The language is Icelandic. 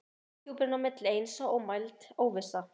Og lofthjúpurinn á milli eins og ómæld óvissa.